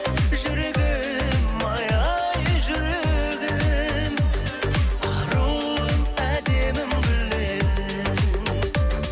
жүрегім ай ай жүрегім аруым әдемім гүл едің